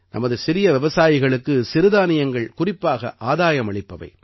நமது சிறிய விவசாயிகளுக்கு சிறுதானியங்கள் குறிப்பாக ஆதாயமளிப்பவை